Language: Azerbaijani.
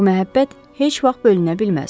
Bu məhəbbət heç vaxt bölünə bilməz.